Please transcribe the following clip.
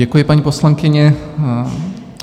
Děkuji, paní poslankyně.